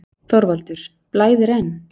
ÞORVALDUR: Blæðir enn?